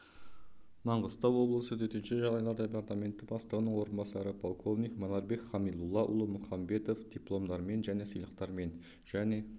маңғыстау облысы төтенше жағдайлар департаменті бастығының орынбасары полковник манарбек хамилуллаұлы мұханбетов дипломдармен және сыйлықтармен және